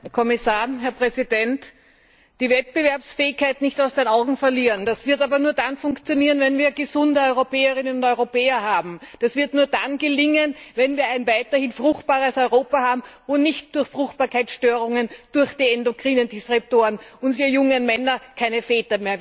Herr Präsident, Herr Kommissar! Die Wettbewerbsfähigkeit nicht aus den Augen verlieren das wird aber nur dann funktionieren, wenn wir gesunde Europäerinnen und Europäer haben, das wird nur dann gelingen, wenn wir ein weiterhin fruchtbares Europa haben, wo nicht durch Fruchtbarkeitsstörungen infolge von endokrinen Disruptoren unsere jungen Männer keine Väter mehr werden.